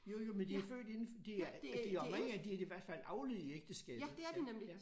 Jo jo men de er født inden de er de oprindeligt er de i hvert fald avlet i ægteskabet ja ja